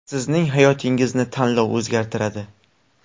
Sizning hayotingizni tanlov o‘zgartiradi.